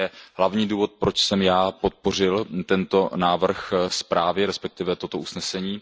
To je hlavní důvod, proč jsem podpořil tento návrh zprávy, respektive toto usnesení.